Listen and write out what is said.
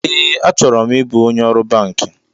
Ee, achọrọ m ịbụ onye ọrụ banki